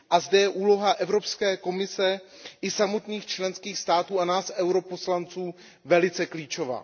A zde je úloha Evropské komise i samotných členských států a nás, poslanců EP, velice klíčová.